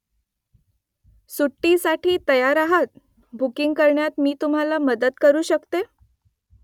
सुट्टीसाठी तयार आहात बुकिंग करण्यात मी तुम्हाला मदत करू शकतो ?